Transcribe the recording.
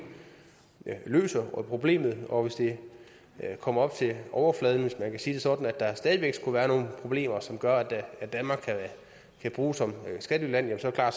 løser problemet og hvis det kommer op til overfladen hvis man kan sige det sådan at der stadig væk skulle være nogle problemer som gør at danmark kan bruges som skattelyland så er